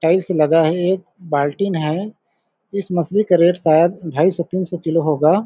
tile से लगा है एक बाल्टीन है इस मछली का रेट शायद दो सौ पचास तीन सौ किलो होगा --